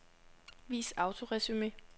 Vis autoresumé.